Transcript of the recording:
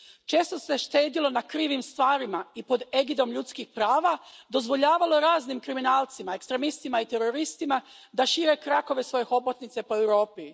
Često se štedjelo na krivim stvarima i pod egidom ljudskih prava dozvoljavalo raznim kriminalcima, ekstremistima i teroristima da šire krakove svoje hobotnice po Europi.